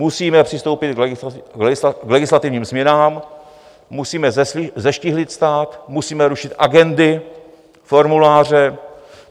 Musíme přistoupit k legislativním změnám, musíme zeštíhlit stát, musíme rušit agendy, formuláře.